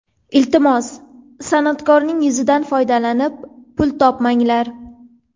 Iltimos, san’atkorning yuzidan foydalanib pul topmanglar.